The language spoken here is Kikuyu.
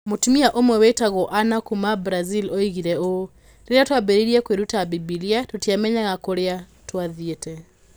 Mũtumia ũmwe wĩtagwo Anna, kuuma Brazil oigire ũũ: "Rĩrĩa twambĩrĩirie kwĩruta Bibilia, tũtiamenyaga kũrĩa twathiĩte.